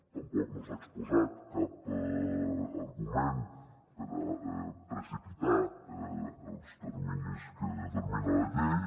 tampoc no s’ha exposat cap argument per a precipitar els terminis que determina la llei